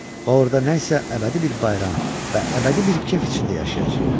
Və orada nə isə əbədi bir bayram və əbədi bir kef içində yaşayacağıq.